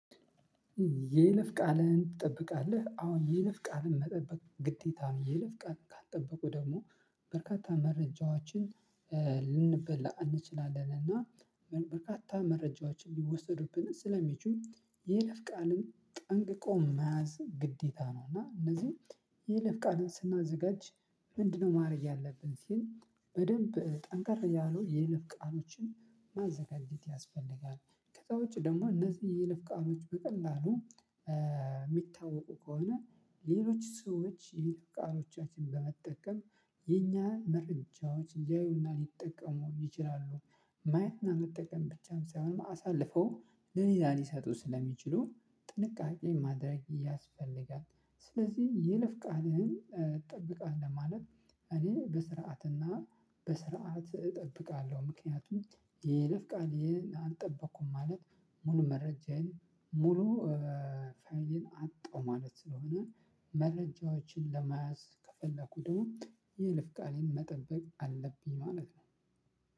የይለፍ ቃልህን ትጠብቃለህ? አዎ የይለፍ ቃልን መጠበቅ ግዴታ ነው። የይለፍ ቃልን ካልጠበቁ ደግሞ በርካታ መረጃዎችን ልንበላ እንችላለን። እና በርካታ መረጃዎች ሊወሰዱብን ስለሚችሉ የይለፍ ቃልን ጠንቅቆ መያዝ ግዴታ ነው። እና እነዚህን የይለፍ ቃልን ስናዘጋጅ ምንድነው ማድረግ ያልብን ስል በደንብ ጠንከር ያሉ የይለፍ ቃሎችን ማዘጋጀት ያስፈልጋል። ከዛ ውጭ ደግሞ እነዚህ የይለፍ ቃሎች በቀላሉ የምታወቁ ከሆነ ሌሎች ሰዎች የይለፍ ቃሎቻችንን በመጠቀም የእኛን መረጃዎች ልያዩ እና ልጠቀሙም ይችላሉ። ማየት እና መጠቀም ብቻም ሳይሆን አሰልፈው ለሌላ ልሰጡ ስለ ምችሉ ጥንቃቄ ማድረግ ያስፈልጋል። ስለዚህ የይለፍ ቃልህን ትጠብቃለህ? ማለት እኔ በስርዓት እና በስርዓት እጠብቃለሁ። ምክንያቱም የይለፍ ቃሌን አልጠበኩም ማለት ሙሉ መረጃዬን ሙሉ መረጃዬን አጠሁ ማለት ስለሆነ። መረጃዎችን ለመያዝ ከፈለኩ ደግሞ የይለፍ ቃሌን መጠበቅ አለብኝ ማለት ነው።